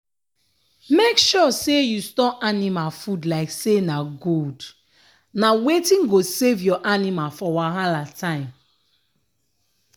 make sure say you store anima food like say na gold na wetin go save your anima for wahala time.